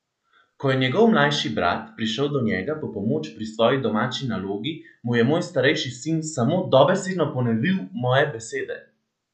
Ko je njegov mlajši brat prišel do njega po pomoč pri svoji domači nalogi, mu je moj starejši sin samo dobesedno ponovil moje besede!